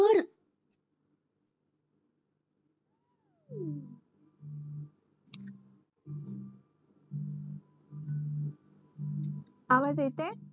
आवाज येतंय